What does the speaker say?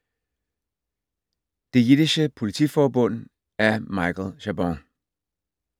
Det jiddische politiforbund af Michael Chabon